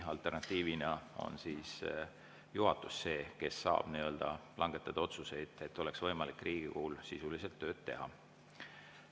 Alternatiivina on juhatus see, kes saab langetada otsuseid, et Riigikogul oleks võimalik sisuliselt tööd teha.